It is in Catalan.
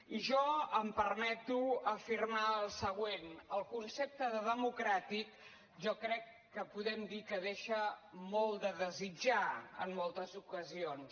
i jo em permeto afirmar el següent el concepte de democràtic jo crec que podem dir que deixa molt a desitjar en moltes ocasions